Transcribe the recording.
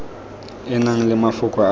e nang le mafoko a